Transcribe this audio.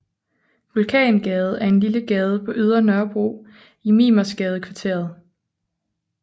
Vulkangade er en lille gade på Ydre Nørrebro i Mimersgadekvarteret